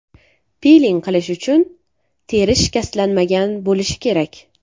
Piling qilish uchun teri shikastlanmagan bo‘lishi kerak.